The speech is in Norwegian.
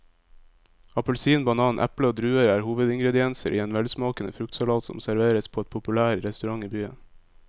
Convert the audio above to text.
Appelsin, banan, eple og druer er hovedingredienser i en velsmakende fruktsalat som serveres på en populær restaurant i byen.